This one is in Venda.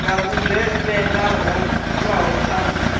na vhugevhenga ho itwaho kha